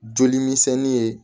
Joli misɛnnin ye